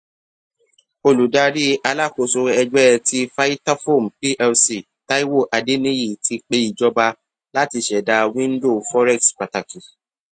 oludari alakoso ẹgbẹ ti vitafoam plc taiwo adeniyi ti pe ijọba lati ṣẹda window forex pataki